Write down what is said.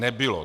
Nebylo!